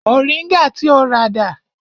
Moringa ti o rà dà?